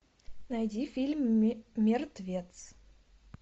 найди фильм мертвец